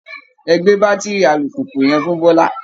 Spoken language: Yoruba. Ẹ gbé bátiri alùpùpù yẹn fún Bọ́lá!